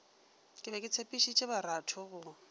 be ke tshepišitše baratho go